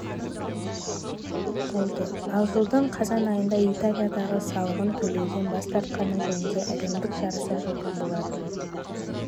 болды ал жылдың қазан айында италиядағы салығын төлеуден бас тартқаны жөнінде әлемдік жарыса жазған болатын